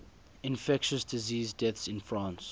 infectious disease deaths in france